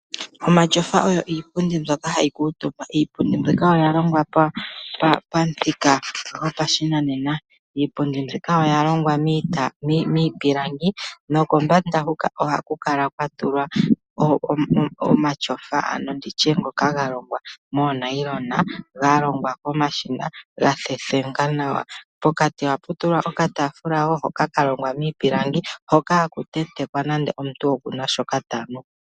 Omatyofa oyo iipundi mbyoka hayi kuutumbwa. Iipundi mbyoka oya longwa pamuthika gwoshinanena. Ohayi longwa miipilangi momafulafula kombanda etaku hondjelwa oonayilona nenge iilapi. Ohaga kala ne unene moondunda dhoku kuutumba nohamu kala wo okataafula kalongwa miipilangi, mpono omuntu ta vulu okutenteka nande oshikunwa she.